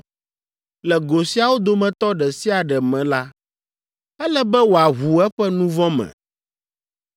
Le go siawo dometɔ ɖe sia ɖe me la, ele be wòaʋu eƒe nu vɔ̃ me,